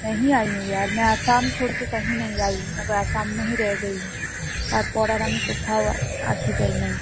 তারপরে আমি আর কোথাও আসি যাই নাই